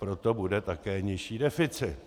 Proto bude také nižší deficit.